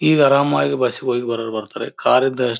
ಈಗ ಆರಾಮಾಗಿ ಬಸ್ ಗೆ ಹೋಗಿ ಬರೋರು ಬರ್ತಾರೆ ಕಾರ್ ಇದ್ದ--